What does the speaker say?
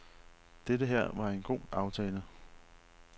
Dette her var en god aftale.